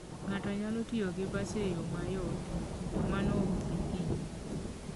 Ng'ato nyalo tiyo gi bas e yo mayot, to mano ok bi hinye.